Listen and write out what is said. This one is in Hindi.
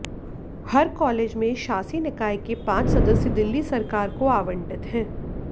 हर कॉलेज में शासी निकाय के पांच सदस्य दिल्ली सरकार को आवंटित हैं